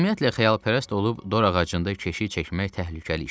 Ümumiyyətlə, xəyalpərəst olub dorağacında keşiy çəkmək təhlükəli işdir.